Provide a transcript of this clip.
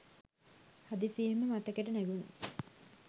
හදිසියේම මතකෙට නැඟුණේ